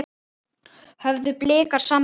Höfðu Blikar samband?